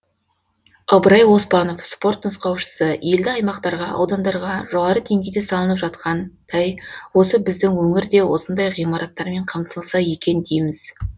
ыбырай оспанов спорт нұсқаушысы елді аймақтарға аудандарға жоғары деңгейде салынып жатқан осы біздің өңір де осындай ғимараттармен қамтылса екен дейміз